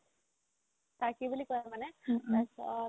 তাৰ্কি বুলি কই মানে তাৰপিছত